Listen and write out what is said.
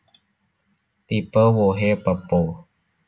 Tipe wohé pepo